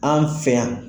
An fɛ yan